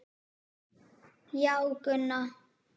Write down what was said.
Já, Gunna.